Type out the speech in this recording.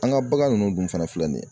An ka bagan nunnu dun fana filɛ nin ye